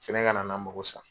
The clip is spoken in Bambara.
Sɛnɛ kana n la mako sa.